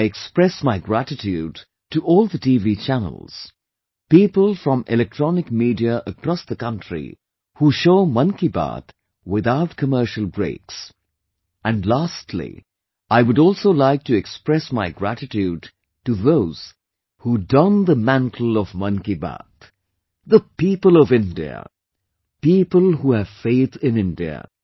I express my gratitude to all the TV channels, people from electronic media across the country, who show 'Mann Ki Baat' without commercial breaks and lastly, I would also like to express my gratitude to those who don the mantle of 'Mann Ki Baat' the people of India, people who have faith in India